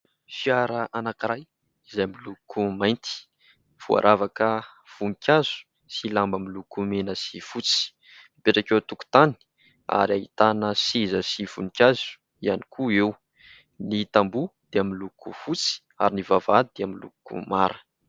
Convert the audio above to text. Fiara anankiray izay miloko mainty, voaravaka voninkazo sy lamba miloko mena sy fotsy. Mipetraka eo an-tokontany ary ahitana seza sy voninkazo ihany koa eo. Ny tamboho dia miloko fotsy ary ny vavahady dia miloko mara.